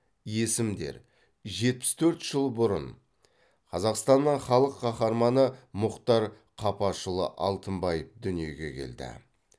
есімдер жетпіс төрт жыл бұрын қазақстанның халық қаһарманы мұхтар қапашұлы алтынбаев дүниеге келді